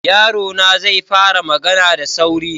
Yarona zai fara magana da sauri.